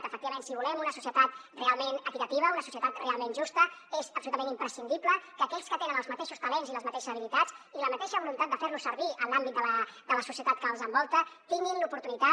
efectivament si volem una societat realment equitativa una societat realment justa és absolutament imprescindible que aquells que tenen els mateixos talents i les mateixes habilitats i la mateixa voluntat de fer los servir en l’àmbit de la societat que els envolta tinguin l’oportunitat